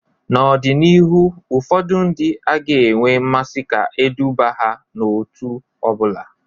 N'ọdịnihu ụfọdụ ndị agaghị enwe mmasị ka eduba ha n'òtù ọ bụla